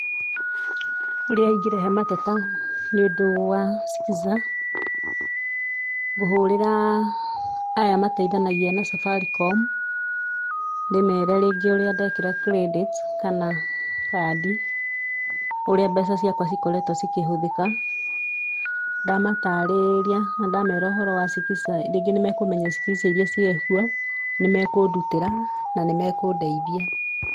Ũrĩa ingĩrehe mateta nĩ ũndũ wa Skiza: Nguhũrĩra aya mateithanagia na Safaricom ndĩmere rĩngĩ ũrĩa ndekĩra credit kana kandi, ũrĩa mbeca ciakwa cikoretwo cikĩhũthĩka. Ndamatarĩria, na ndamera ũhoro wa Skiza rĩngĩ nĩ mekũmenya Skiza iria ciĩ kuo. Nĩmekũndutĩra na nĩmekũndeithia.